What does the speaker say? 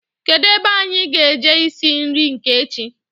Kedụ ebe anyị ga-eje isi nri nke echi